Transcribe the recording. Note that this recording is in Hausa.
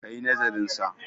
ka yi nazarinsa!